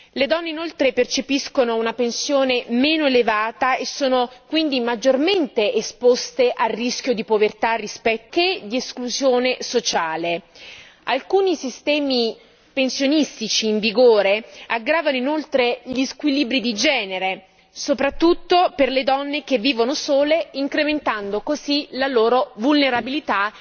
Le donne inoltre percepiscono una pensione meno elevata e sono quindi maggiormente esposte al rischio di povertà e di esclusione sociale rispetto agli uomini. Alcuni sistemi pensionistici in vigore aggravano inoltre gli squilibri di genere soprattutto per le donne che vivono sole incrementando così la loro vulnerabilità.